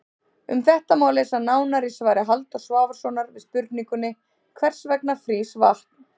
Um þetta má lesa nánar í svari Halldórs Svavarssonar við spurningunni Hvers vegna frýs vatn?